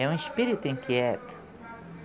É um espírito inquieto.